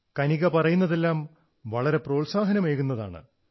കനിഗ പറയുന്നതെല്ലാം വളരെ പ്രോത്സാഹനമേകുന്നതാണ്